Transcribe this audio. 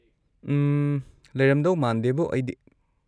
ꯎꯝ, ꯂꯩꯔꯝꯗꯧ ꯃꯥꯟꯗꯦꯕꯣ ꯑꯩꯗꯤ꯫